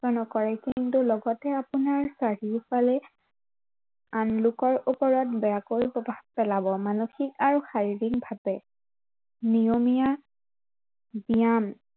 কৰে, কিন্তু লগতে আপোনাৰ চাৰিওফালে আন লোকৰ ওপৰত বেয়াকৈ প্ৰভাৱ পেলাৱ মানসিক আৰু শাৰীৰিক ভাৱে নিয়মীয়া জ্ঞান